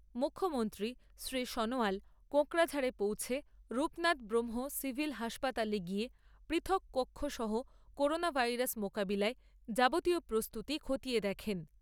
মূখ্যমন্ত্রী শ্রী সনোয়াল কোকরাঝাড়ে পৌছে রূপনাথ ব্রহ্ম সিভিল হাসপাতালে গিয়ে পৃথক কক্ষ সহ করোনা ভাইরাস মোকাবিলায় যাবতীয় প্রস্তুতি খতিয়ে দেখেন।